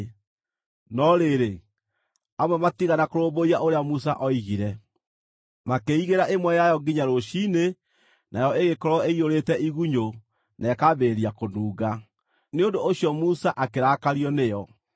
No rĩrĩ, amwe matiigana kũrũmbũiya ũrĩa Musa oigire; makĩĩigĩra ĩmwe yayo nginya rũciinĩ, nayo ĩgĩkorwo ĩiyũrĩte igunyũ na ĩkambĩrĩria kũnunga. Nĩ ũndũ ũcio Musa akĩrakario nĩo.